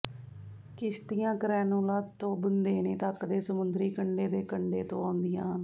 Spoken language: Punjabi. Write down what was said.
ਕਿਸ਼ਤੀਆਂ ਕ੍ਰੈਨੂਲਾ ਤੋਂ ਬੁੰਦੇਨੇ ਤੱਕ ਦੇ ਸਮੁੰਦਰੀ ਕੰਢੇ ਦੇ ਕੰਢੇ ਤੋਂ ਆਉਂਦੀਆਂ ਹਨ